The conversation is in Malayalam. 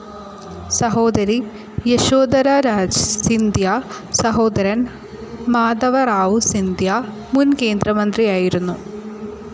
സഹോദരി യശോധരാ രാജ് സിന്ധ്യ, സഹോദരൻ മാധവറാവു സിന്ധ്യ മുൻ കേന്ദ്രമന്ത്രിയായിരുന്നു.